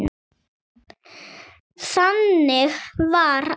Þannig var amma.